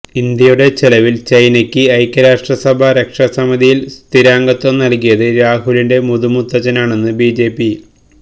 ഇന്ത്യയുടെ ചെലവിൽ ചൈനക്ക് ഐക്യരാഷ്ട്ര സഭാ രക്ഷാ സമിതിയിൽ സ്ഥിരാംഗത്വം നൽകിയത് രാഹുലിന്റെ മുതു മുത്തച്ഛനാണെന്ന് ബിജെപി